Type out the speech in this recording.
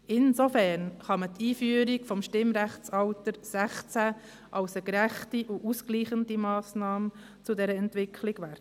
Insofern kann man die Einführung des Stimmrechtsalters 16 als eine gerechte und ausgleichende Massnahme zu dieser Entwicklung werten.